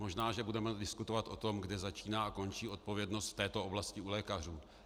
Možná že budeme diskutovat o tom, kde začíná a končí odpovědnost v této oblasti u lékařů.